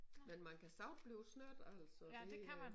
Men man kan så også blive snydt altså det øh